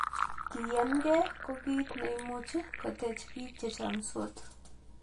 Kiyaankee ko kiit neimuchi kotech piik chechomdos